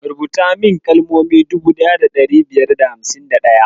Rubuta min kalmomi dubu daya da ɗari biyar da hamsin da ɗaya.